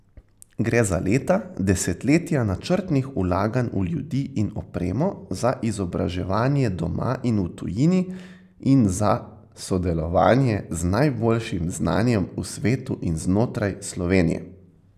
Gre za leta, desetletja načrtnih vlaganj v ljudi in opremo, za izobraževanje doma in v tujini in za sodelovanje z najboljšim znanjem v svetu in znotraj Slovenije.